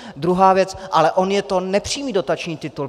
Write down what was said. Druhá věc - ale on je to nepřímý dotační titul.